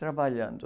Trabalhando.